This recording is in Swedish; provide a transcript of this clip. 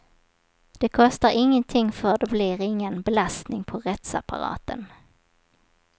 Det kostar ingenting för det blir ingen belastning på rättsapparaten.